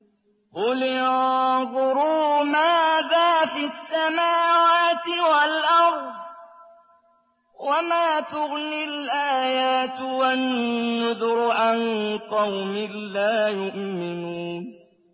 قُلِ انظُرُوا مَاذَا فِي السَّمَاوَاتِ وَالْأَرْضِ ۚ وَمَا تُغْنِي الْآيَاتُ وَالنُّذُرُ عَن قَوْمٍ لَّا يُؤْمِنُونَ